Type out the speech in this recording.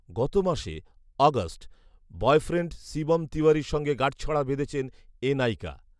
গত মাসে August boyfriend Shivam তিওয়ারির সঙ্গে গাঁটছড়া বেঁধেছেন এ নায়িকা